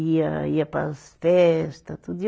Ia, ia para as festa, tudo.